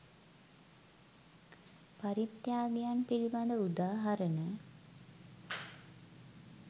පරිත්‍යාගයන් පිළිබඳ උදාහරණ